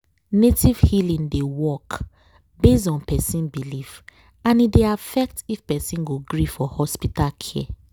native healing dey work based on person belief and e dey affect if person go gree for hospital care.